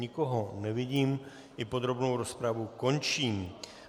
Nikoho nevidím, i podrobnou rozpravu končím.